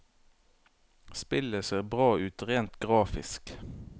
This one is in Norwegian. Spillet ser bra ut rent grafisk.